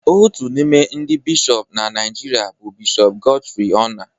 Otu n'ime ndị Bishọp na Naijiria bụ Bishọp Godfrey Onah